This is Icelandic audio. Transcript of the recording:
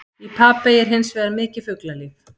Í Papey er hins vegar mikið fuglalíf.